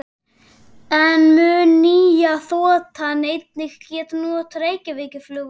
En mun nýja þotan einnig geta notað Reykjavíkurflugvöll?